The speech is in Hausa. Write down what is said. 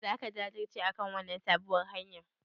Zaka jajirce akan wannan sabuwar hanyar?